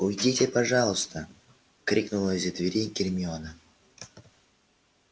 уйдите пожалуйста крикнула из-за двери гермиона